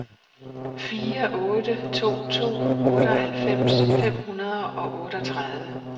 fire otte to to otteoghalvfems fem hundrede og otteogtredive